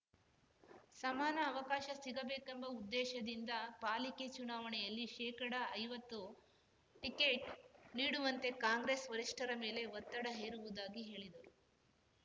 ಸಮಾನ ಅವಕಾಶ ಸಿಗಬೇಕೆಂಬ ಉದ್ದೇಶದಿಂದ ಪಾಲಿಕೆ ಚುನಾವಣೆಯಲ್ಲಿ ಶೇಕಡಐವತ್ತು ಟಿಕೆಟ್‌ ನೀಡುವಂತೆ ಕಾಂಗ್ರೆಸ್‌ ವರಿಷ್ಟರ ಮೇಲೆ ಒತ್ತಡ ಹೇರುವುದಾಗಿ ಹೇಳಿದರು